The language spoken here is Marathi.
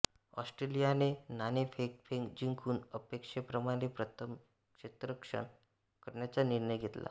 ऑस्ट्रेलियाने नाणेफेक जिंकून अपेक्षेप्रमाणे प्रथम क्षेत्ररक्षण करण्याच्या निर्णय घेतला